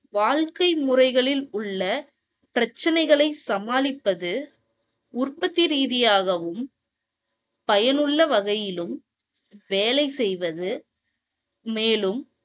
வாழ்க்கை முறைகளில் உள்ள பிரச்சனைகளை சமாளிப்பது உற்பத்தி ரீதியாகவும் பயனுள்ள வகையிலும் வேலை செய்வது மேலும்